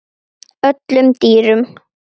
öllum dýrum